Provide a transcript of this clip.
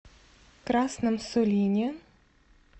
красном сулине